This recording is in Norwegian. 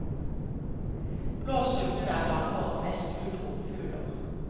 Blåstrupen er blant våre mest utro fugler.